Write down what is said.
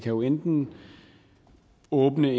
jo enten åbne